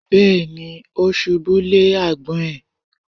Bẹ́ẹ̀ni. Ó ṣubú lé àgbọ̀n ẹ̀.